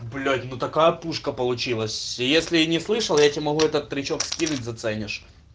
блять ну такая пушка получилось если не слышал я тебе могу этот причём скинуть заценишь